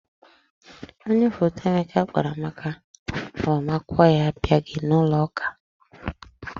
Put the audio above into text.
Onye foto Emeka kpọrọ maka agbamakwụkwọ ya abịaghị n'ụloụka.